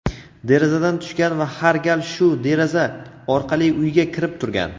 derazadan tushgan va har gal shu deraza orqali uyga kirib turgan.